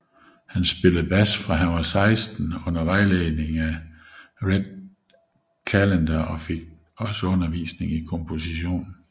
Han spillede bas fra han var 16 under vejledning af Red Callender og fik tillige undervisning i komposition